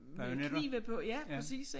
Bajonetter ja